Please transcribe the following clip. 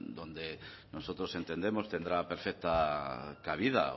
donde nosotros entendemos tendrá perfecta cabida